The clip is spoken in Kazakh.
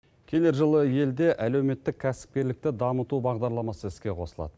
келер жылы елде әлеуметтік кәсіпкерлікті дамыту бағдарламасы іске қосылады